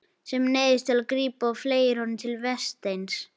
Sem neyðist til að grípa og fleygir honum til Vésteins.